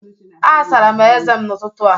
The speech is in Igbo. Asara m ezé m n’ụtụtụ a